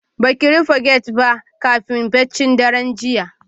Baki rufe gate ba kafin baccin daren jiya